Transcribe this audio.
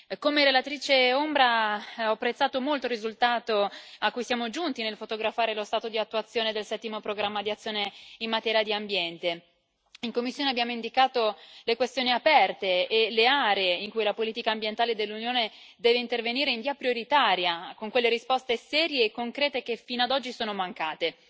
Come relatrice ombra ho apprezzato molto il risultato a cui siamo giunti nel fotografare lo stato di attuazione del Settimo programma di azione in materia di ambiente in commissione abbiamo indicato le questioni aperte e le aree in cui la politica ambientale dell'Unione deve intervenire in via prioritaria, con quelle risposte serie e concrete che fino a oggi sono mancate.